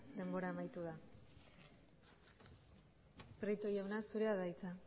denbora amaitu da prieto jauna zurea da hitza